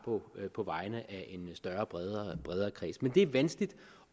på vegne af en større og bredere kreds men det er vanskeligt